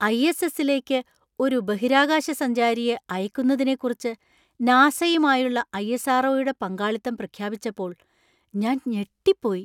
ISS. ലേക്ക് ഒരു ബഹിരാകാശ സഞ്ചാരിയെ അയക്കുന്നതിനെക്കുറിച്ച് നാസയുമായുള്ള ഐ.എസ്.ആർ.ഒ.യുടെ പങ്കാളിത്തം പ്രഖ്യാപിച്ചപ്പോൾ ഞാൻ ഞെട്ടിപ്പോയി!